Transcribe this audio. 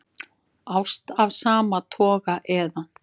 Ást af sama toga eða